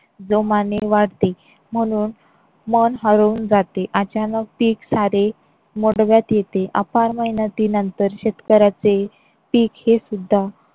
जोमाने वाढते म्हणून मन हळवुन जाते. अचानक पीक सारे येते शेतकऱ्याचे पिक हे सुद्धा